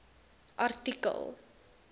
artikel